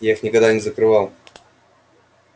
я их никогда не закрывал